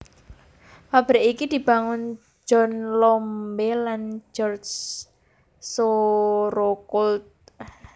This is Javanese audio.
Pabrik iki dibangun John Lombe lan George Sorocold